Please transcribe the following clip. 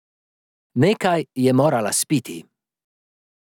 Nekaj je morala spiti.